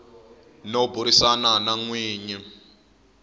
no burisana na n winyi